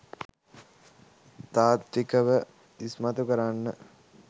තාත්විකව ඉස්මතු කරන්න.